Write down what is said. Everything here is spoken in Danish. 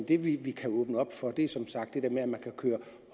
det vi kan åbne op for er som sagt at man kan køre